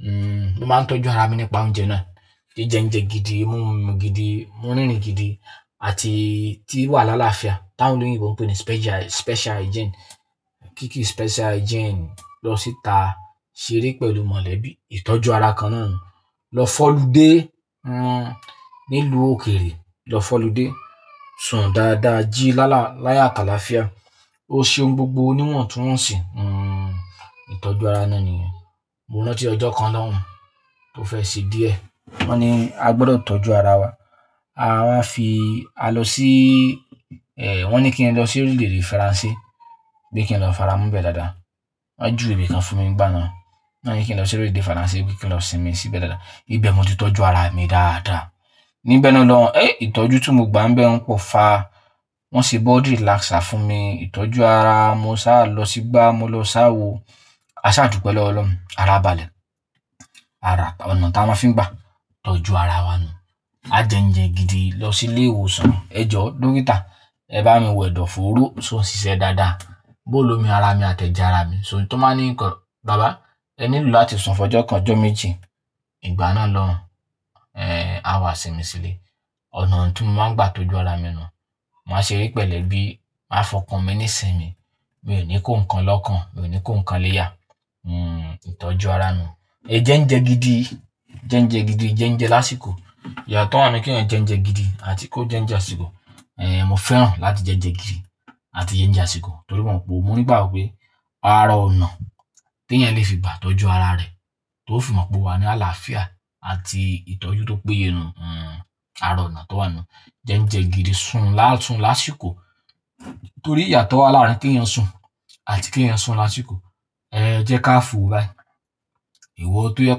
Hmm, mo máa ń tọ́jú ara mi nípa oúnjẹ náà. Jíjẹ oúnjẹ gidi, mu omi gidi, mú rírìn gidi àti tí wà lála fia. Tán Tolúni ń pè é ní special, special hygiene. Kíkí special hygiene lọ síta ṣeré pẹ̀lú mọ̀lẹ́bí. Ìtọ́jú ara kan náà nǹkan. Lọ f'ọ́lúdẹ̀, hmm, nílu òkeèrè, lọ f'ọ́lúdẹ̀, sùn dáadáa, jí lála, láyo atàlàfia. O ṣe ohun gbogbo níwọ̀ntúnwọ̀nsì, hmm, ìtọ́jú ara náà nìyẹn. Mo rántí ọjọ́ kan lọ́hùn tó fẹ́ ṣe díẹ̀, wọ́n ní a gbọdọ̀ tọ́jú ara wa. A máa fi, a lọ sí, eh, wọ́n ní kí ẹ lọ sí orílẹ̀-èdè Faransé, pé kí n lọ f'aramobẹ́ dáadáa. Wọ́n juwé ibikan fún mi nígbà náà. Wọ́n ní kí n lọ sí orílẹ̀-èdè Faransé, pé kí n lọ sinmi síbẹ̀ dáadáa. Ibẹ̀ mo ti tọ́jú ara mi dáadáa. Níbẹ̀ ni mo lọ, eh, ìtọ́jú tí mo gbà ń bẹun m pò fa. Wọ́n ṣe blood relaxer fún mi. Ìtọ́jú ara, mo sá lọ sígbà mo lọ sáwo. A sá dùpẹ́ lọ́wọ́ Ọlọ́run. Ara balẹ̀. Ara, ọ̀nà ta máa ń fi n gbà tọ́jú ara wa nù. A jẹ oúnjẹ gidi lọ sí ilé ìwòsàn. Ẹ̀jọ̀ dókítà, ẹ bá mi wẹ̀dọ̀ fòóró so ń ṣiṣẹ́ dáadáa. Bó lo mi ara mi àtẹ̀je ara mi. So tan ba ní ǹkan, bàbá ẹ nílò láti sùn fọjọ́ kan, ọjọ́ méjì. Ìgbà náà lọ́hùn, eh, a wà sinmi sílé. Ọ̀nà tí mo máa ń gbà tọ́jú ara mi nù. Mo máa ṣe eré pẹ̀lú ẹbí, màá fọkàn mi nísinmi. Mi ò ní kó ǹkan lọ́kàn, mi ò ní kó ǹkan léyà. Hmm, ìtọ́jú ara nù. Ẹ jẹ oúnjẹ gidi, jẹ oúnjẹ gidi, jẹ oúnjẹ lásìkò. Ìyátọ́ wa ń'nu kí ẹeyan jẹ oúnjẹ gidi àti kó jẹ oúnjẹ àsìkò. Eh, mo fẹ́ràn láti jẹ oúnjẹ gidi àti jẹ oúnjẹ àsìkò torí mo mọ̀ pé mo ní ìgbágbo pé ara ọ̀nà tí ẹeyan le fi gbà tọ́jú ara rẹ̀ tó fi mọ̀ pé o wà ní àlàáfíà àti ìtọ́jú tó péye nù. Hmm, ara ọ̀nà tó wà nù. Jẹ oúnjẹ gidi, sùn lásun, lásìkò torí ìyàtó wà láàárín kí ẹeyan sùn àti kí ẹeyan sùn lásìkò. Eh, jẹ́ ká fò báyìí. Ìwọ tó jẹ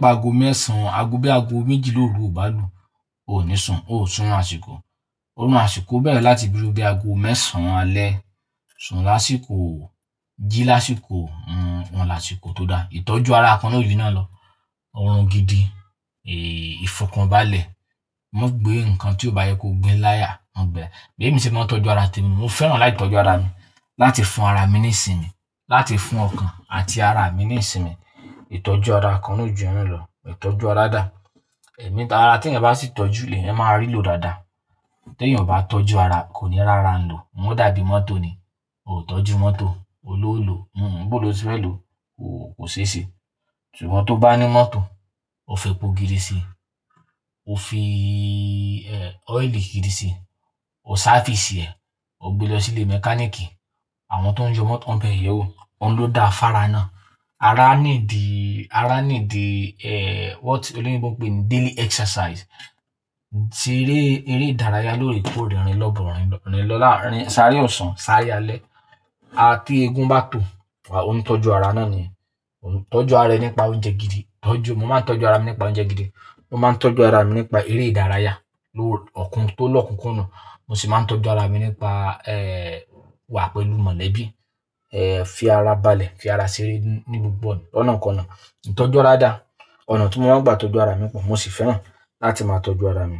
pé aago mẹ́sàn án, aago bí i aago méjìla óru ò bá lù, o ò ní sùn, o ò sùn'run àsìkò. Òrun àsìkò bẹ́ẹ̀re láti bí i ru bí i aago mẹ́sàn án alẹ́, sùn lásìkò, jí lásìkò, hmm, ọn lásìkò tó dá. Ìtọ́jú ara kan na ó jùyi náà lọ. Orun gidi, eh, ìfọkàn balẹ̀. Mọ́ gbé ǹkan tí ó bá yẹ kó gbé láyà, mọ́ gbé ẹ laya. Bémi se mo tọ́jú ara temi, mo fẹ́ràn láti tọ́jú ara mi, láti fún ara mi nísinmí, láti fún ọkàn àti ara mi nísinmí. Ìtọ́jú ara kan naa ó jùyen naa lọ. Ìtọ́jú ara dà. Ẹ̀mí, ara tí ẹyan bá sì tọ́jú lèẹyan máa rì ló dáadáa. Tí ènìyàn o bá tọ́jú ara kò ní r'árá ń lò. Ǹjẹ́ ó dàbí mọ́tò ni, o ò tọ́jú mọ́tò, olò o lò, hmm, bó ló se fẹ́ lò ó kò ṣe ṣe. Iwo tó bá ní mọ́tò, o f'ẹ́po gidi sí i, o fi, eh, ọ́ìlì gidi sí i, o sáfìsì ẹ, o gbe lọ sílé mẹkáníìkì àwọn tó ń ye mọ́tò, wọ́n bẹ̀ ẹ yewó, ohun ló da fára náà. Ara need, ara need, eh, what? Toloyinbo ń pè é ní daily exercise. Eré, eré ìdárayá lóorekoore rìnlọ́borinlọ̀, rin lọ láàárín sáré ọ̀sán sáré alẹ́. A tí egun bá tó, a òún tọ́jú ara náà ni. O tọ́jú ara rẹ nípa oúnjẹ gidi. Tọ́jú, mo máa ń tọ́jú ara mi nípa oúnjẹ gidi. Mo máa ń tọ́jú ara mi nípa eré ìdárayá lóore, ọ̀kún tó lọ́kunkundun. Mo sì máa ń tọ́jú ara mi nípa, eh, wà pẹ̀lú mọ̀lẹ́bí, eh, fi ara balẹ̀, fi ara ṣeré ní gbogbo ọ̀nà lọ̀nakona. Ìtọ́jú ara dà. Ọ̀nà tí mo máa ń gbà tọ́jú ara mi pọ̀, mo sì fẹ́ràn láti máa tọ́jú ara mi.